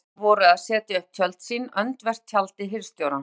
Hólamenn voru að setja upp tjöld sín öndvert tjaldi hirðstjórans.